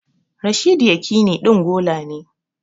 Rashidi Yakini ɗin gola ne